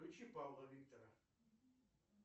включи павла виктора